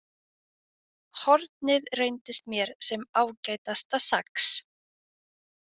Hornið reyndist mér sem ágætasta sax.